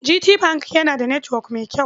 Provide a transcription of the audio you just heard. GT Bank yana da netwok mai kyau.